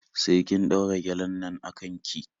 Sai kin ɗaura gyalen nan a kan ki.